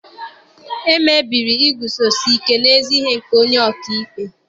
E mebiri iguzosi ike n'ezi ihe nke onye oka ikpe